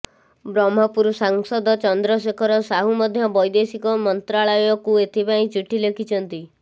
ବ୍ରହ୍ମପୁର ସାଂସଦ ଚନ୍ଦ୍ରଶେଖର ସାହୁ ମଧ୍ୟ ବୈଦେଶିକ ମନ୍ତ୍ରାଳୟକୁ ଏଥିପାଇଁ ଚିଠି ଲେଖିଛନ୍ତି